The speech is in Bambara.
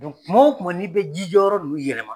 kuma o kuma n'i bɛ ji jɔyɔrɔ nun yɛlɛma